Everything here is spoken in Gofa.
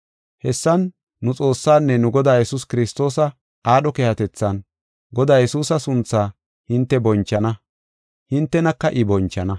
Hessan nu Xoossaanne nu Godaa Yesuus Kiristoosa aadho keehatethan, Godaa Yesuusa sunthaa hinte bonchana; hintenaka I bonchana.